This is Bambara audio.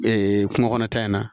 Ee kungo kɔnɔta in na